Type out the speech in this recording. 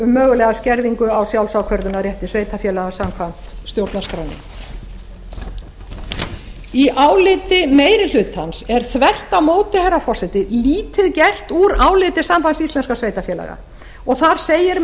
um mögulega skerðingu á sjálfsákvörðunarrétti sveitarfélaga samkvæmt stjórnarskránni í áliti meiri hlutans er þvert á móti herra forseti lítið gert úr áliti sambands íslenskra sveitarfélaga og þar segir með